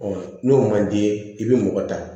n'o man d'i ye i bɛ mɔgɔ ta